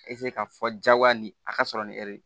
ka fɔ jagoya ni a ka sɔrɔ ni